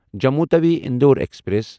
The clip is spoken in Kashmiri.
جموں تَوِی اِندور ایکسپریس